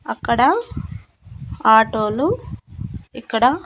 అక్కడ ఆటోలు ఇక్కడ.